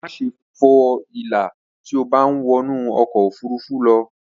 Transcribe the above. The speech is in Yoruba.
Máṣe fo ìlà tí o bá ń wọnú ọkọ̀ ofurufú lọ